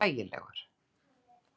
Hann er hlægilegur.